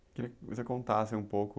Eu queria que você contasse um pouco...